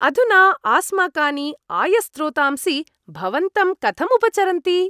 अधुना आस्माकानि आयस्रोतांसि भवन्तं कथं उपचरन्ति?